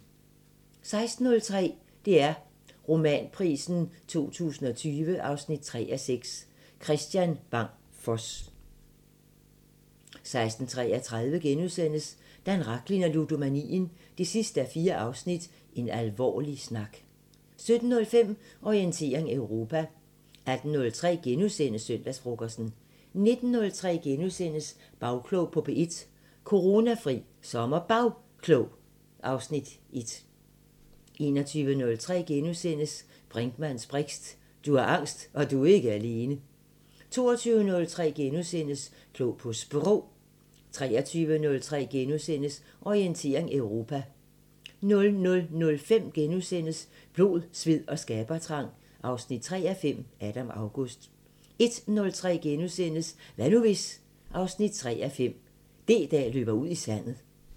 16:03: DR Romanprisen 2020 3:6 – Kristian Bang Foss 16:33: Dan Rachlin og ludomanien 4:4 – En alvorlig snak * 17:05: Orientering Europa 18:03: Søndagsfrokosten * 19:03: Bagklog på P1: Coronafri SommerBagklog (Afs. 1)* 21:03: Brinkmanns briks: Du har angst, og du er ikke alene! * 22:03: Klog på Sprog * 23:03: Orientering Europa * 00:05: Blod, sved og skabertrang 3:5 – Adam August * 01:03: Hvad nu hvis...? 3:5 – D-dag løber ud i sandet *